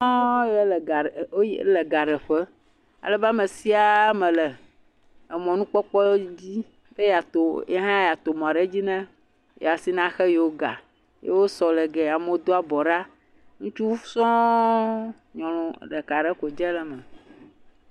Amewo sɔŋ yawo yi, woyi, wole gaɖeƒe alebe ame siaa me le emɔnukpɔkpɔ di be yeato, ye hã yeato mɔ ɖe dzi ne ye asi na xe yewo ga. Ye wosɔ le giɛ. Amewo do abɔ ɖa, ŋutsu sɔŋ. Nyɔnu ɖeka ɖe ko dze le eme.